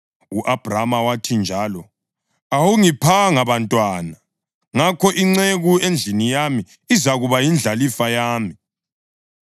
U-Abhrama wathi njalo, “Awungiphanga bantwana; ngakho inceku endlini yami izakuba yindlalifa yami.”